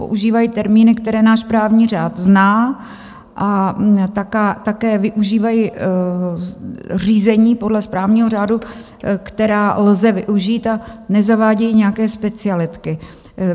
Používají termíny, které náš právní řád zná, a také využívají řízení podle správního řádu, která lze využít, a nezavádějí nějaké specialitky.